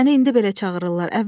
Səni indi belə çağırırlar.